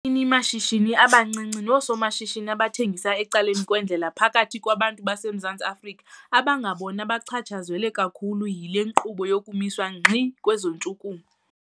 Abaninimashishini abancinci noosomashishini abathengisa ecaleni kwendlela baphakathi kwabantu baseMzantsi Afrika abangabona bachatshazelwe kakhulu yile nkqubo yokumiswa ngxi kweentshukumo.